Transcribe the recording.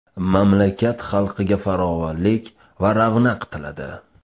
Mamlakat xalqiga farovonlik va ravnaq tiladi.